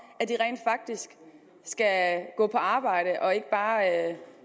at de rent faktisk skal gå på arbejde og ikke bare